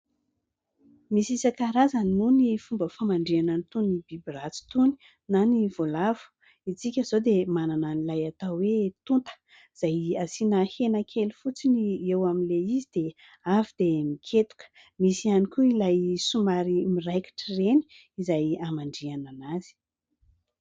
Misy isan-karazany moa ny fomba famandrihana itony biby ratsy itony na ny voalavo. Ny antsika izao dia manana an'ilay atao hoe tonta izay asiana hena kely fotsiny eo amin'ilay izy dia avy dia miketoka. Misy ihany koa ilay somary miraikitra ireny izay hamandrihana anazy.